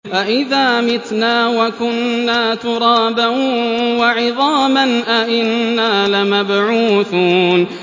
أَإِذَا مِتْنَا وَكُنَّا تُرَابًا وَعِظَامًا أَإِنَّا لَمَبْعُوثُونَ